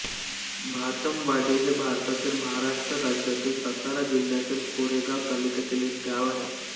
भातमवाडी हे भारतातील महाराष्ट्र राज्यातील सातारा जिल्ह्यातील कोरेगाव तालुक्यातील एक गाव आहे